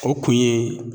O kun ye